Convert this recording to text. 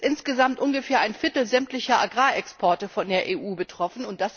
Es ist insgesamt ungefähr ein Viertel sämtlicher Agrarexporte der EU betroffen.